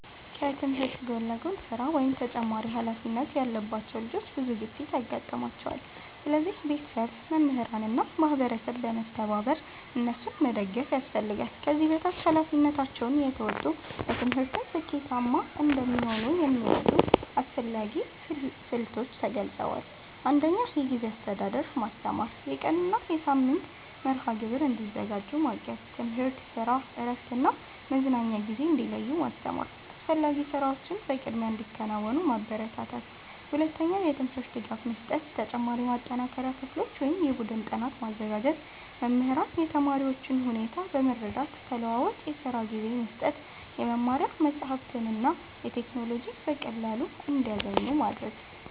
ከትምህርት ጎን ለጎን ስራ ወይም ተጨማሪ ኃላፊነት ያለባቸው ልጆች ብዙ ግፊት ያጋጥማቸዋል። ስለዚህ ቤተሰብ፣ መምህራን እና ማህበረሰብ በመተባበር እነሱን መደገፍ ያስፈልጋል። ከዚህ በታች ኃላፊነታቸውን እየተወጡ በትምህርትም ስኬታማ እንዲሆኑ የሚረዱ አስፈላጊ ስልቶች ተገልጸዋል። 1. የጊዜ አስተዳደር ማስተማር የቀን እና የሳምንት መርሃ ግብር እንዲያዘጋጁ ማገዝ። ትምህርት፣ ስራ፣ እረፍት እና መዝናኛ ጊዜ እንዲለዩ ማስተማር። አስፈላጊ ስራዎችን በቅድሚያ እንዲያከናውኑ ማበረታታት። 2. የትምህርት ድጋፍ መስጠት ተጨማሪ የማጠናከሪያ ክፍሎች ወይም የቡድን ጥናት ማዘጋጀት። መምህራን የተማሪዎቹን ሁኔታ በመረዳት ተለዋዋጭ የስራ ጊዜ መስጠት። የመማሪያ መጻሕፍትና ቴክኖሎጂ በቀላሉ እንዲያገኙ ማድረግ።